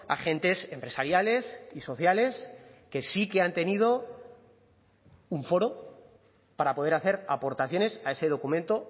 agentes empresariales y sociales que sí que han tenido un foro para poder hacer aportaciones a ese documento